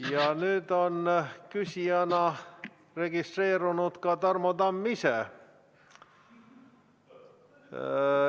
Ja nüüd on küsijana registreerunud ka Tarmo Tamm ise.